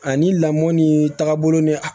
Ani lamɔ ni taabolo ni